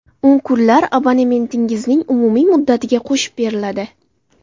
U kunlar abonementingizning umumiy muddatiga qo‘shib beriladi.